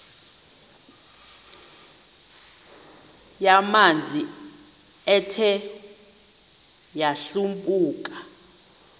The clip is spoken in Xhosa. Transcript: yamanzi ethe yadlabhuka